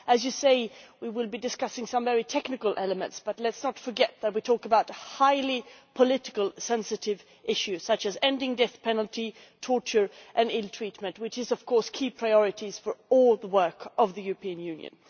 As was said, we will be discussing some very technical elements, but let us not forget that we are talking about highly politically-sensitive issues such as ending the death penalty, torture and ill treatment, which are key priorities for all the work of the European Union.